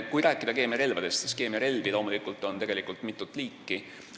Kui rääkida keemiarelvadest, siis keemiarelvi on loomulikult mitut liiki.